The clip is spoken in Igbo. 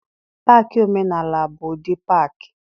Paakị omenaala bụ ụdị paakị.